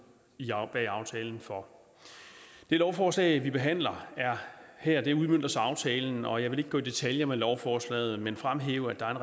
bag aftalen for det lovforslag vi behandler her udmønter så aftalen og jeg vil ikke gå i detaljer med lovforslaget men fremhæve at der er